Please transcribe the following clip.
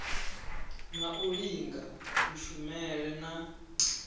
na u linga kushumele na